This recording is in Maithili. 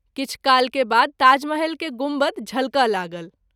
किछु काल के बाद ताजमहल के गुम्बद झलकय लागल।